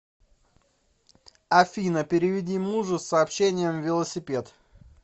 афина переведи мужу с сообщением велосипед